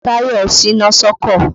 Tàyọ̀ ṣíná sọ́kọ̀.